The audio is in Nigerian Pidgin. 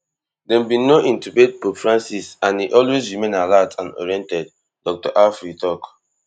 dem bin no intubate pope francis and e always remain alert and oriented dr alfieri tok